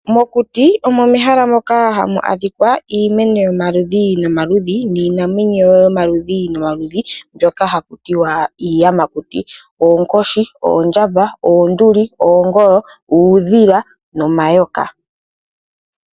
Mokuti omo mehala moka hamu adhika iimeno yomaludhi nomaludhi. Niinamwenyo yomaludhi nomaludhi mbyoka haku tiwa iiyamakuti. Oonkoshi, oondjamba, oonduli , oongolo, uudhila nomayoka.